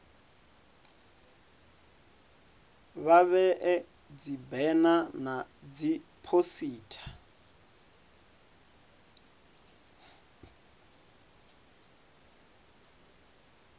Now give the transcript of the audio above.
vha vhee dzibena na dziphosita